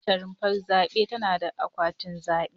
Kowace rumfar zabe tana da akwatin zabe.